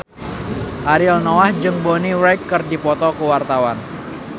Ariel Noah jeung Bonnie Wright keur dipoto ku wartawan